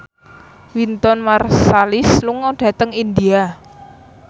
Wynton Marsalis lunga dhateng India